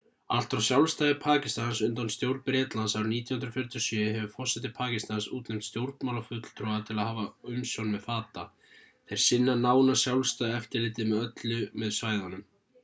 allt frá sjálfstæði pakistans undan stjórn bretlands árið 1947 hefur forseti pakistans útnefnt stjórnmálafulltrúa til að hafa umsjón með fata þeir sinna nánast sjálfstæðu eftirliti með öllu með svæðunum